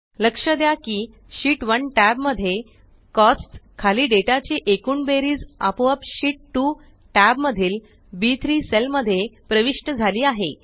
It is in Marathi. लक्ष द्या की शीत 1 टॅब मध्ये कोस्ट्स खाली डेटा ची एकूण बेरीज आपोआप शीत 2 टॅब मधील बी3 सेल मध्ये प्रविष्ट झाली आहे